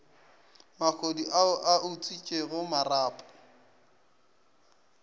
mahodu ao a utswitšego marapo